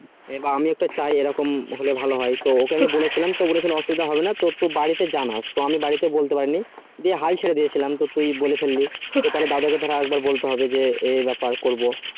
আমি এটা চাই খুললে ভালো হয় তো ওকে আমি বলেছিলাম তো অসুবিধা হবে না তুই বাড়িতে জানাস তো আমি বাড়িতে বলতে পারিনি যে হাল ছেড়ে দিয়েছিলাম তো তুই বলে ফেললি তো দাদাকে তো আরেক বার বলতে হবে এই ব্যাপার করবো